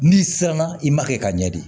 N'i siranna i ma kɛ ka ɲɛ de